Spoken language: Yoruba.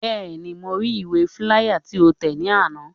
Bẹ́ẹ̀ni, mo ri ìwé fíláyà tí o tẹ̀ ní àná